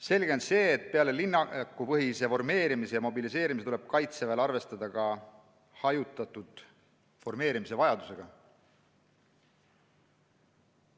Selge on see, et peale linnakupõhise formeerimise ja mobiliseerimise tuleb Kaitseväel arvestada ka hajutatud formeerimise vajadusega.